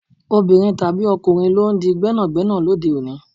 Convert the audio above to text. Obìnrin tàbí ọkùnrin lọ ń di gbẹ́nàgbẹ́nà lóde òní.